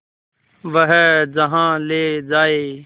वह जहाँ ले जाए